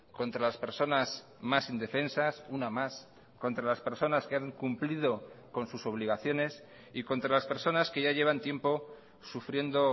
contra las personas más indefensas una más contra las personas que han cumplido con sus obligaciones y contra las personas que ya llevan tiempo sufriendo